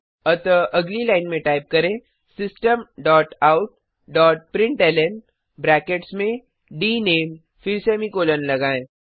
अतः अगली लाइन में टाइप करें system dot out dot println brackets में डीनेम फिर सेमीकॉलन लगायें